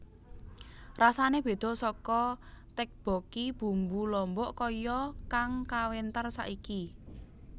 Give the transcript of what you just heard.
Rasané béda saka tteokbokki bumbu lombok kaya kang kawentar saiki